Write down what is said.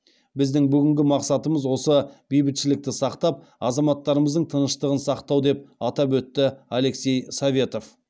біздің бүгінгі мақсатымыз осы бейбітшілікті сақтап азаматтарымыздың тыныштығын сақтау деп атап өтті алексей советов